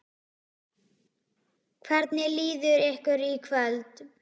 Hvernig líður ykkur í kvöld?